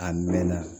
A mɛn na